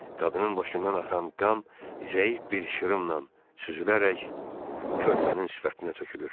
Qadının başından axan qan zəif bir şırımla süzülərək körpənin sifətinə tökülür.